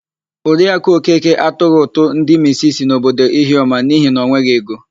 Oriakụ Okeke atụghị ụtụ ndị misisi n'obodo Ihiọma n'ihi na o nweghị ego.